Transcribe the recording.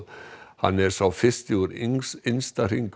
hann er sá fyrsti úr innsta hring